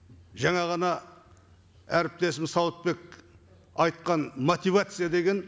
жаңа ғана әріптесім сауытбек айтқан мотивация деген